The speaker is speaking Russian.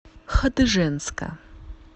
хадыженска